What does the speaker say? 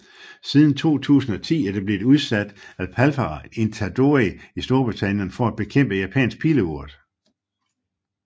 Siden 2010 er der blevet udsat Aphalara itadori i Storbritannien for at bekæmpe Japansk Pileurt